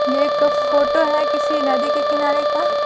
ये एक फोटो है किसी नदी के किनारे का।